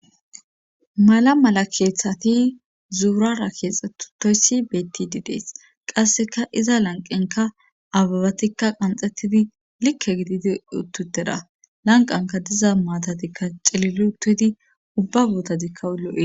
Mala mala keeththati zuurara keexxetutoyssi beetti didees qasseka iza lanqenka ababatikka qanxettidi likke gididi uttutera lanqanka diza maatatikka celilutidi ubba bootadikka ul'i